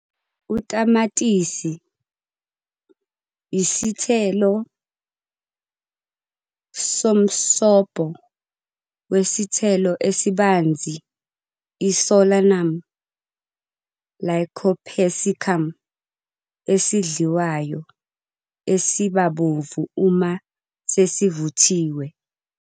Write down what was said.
Utamatisi, isithelo-yisithelo so msobo we sithelo esibanzi iSolanum lycopersicum, esidliwayo, esiba bovu uma sesivuthiwe.